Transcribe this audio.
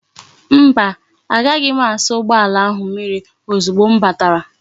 Mba, agaghi m asa ugboala ahu mmiri ozugbo m batara